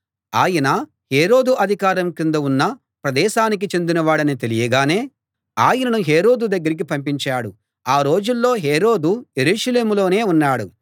ఆయన హేరోదు అధికారం కింద ఉన్న ప్రదేశానికి చెందినవాడని తెలియగానే ఆయనను హేరోదు దగ్గరికి పంపించాడు ఆ రోజుల్లో హేరోదు యెరూషలేములోనే ఉన్నాడు